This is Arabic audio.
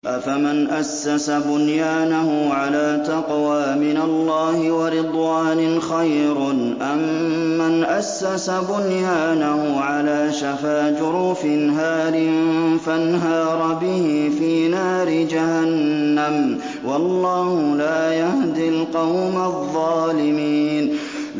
أَفَمَنْ أَسَّسَ بُنْيَانَهُ عَلَىٰ تَقْوَىٰ مِنَ اللَّهِ وَرِضْوَانٍ خَيْرٌ أَم مَّنْ أَسَّسَ بُنْيَانَهُ عَلَىٰ شَفَا جُرُفٍ هَارٍ فَانْهَارَ بِهِ فِي نَارِ جَهَنَّمَ ۗ وَاللَّهُ لَا يَهْدِي الْقَوْمَ الظَّالِمِينَ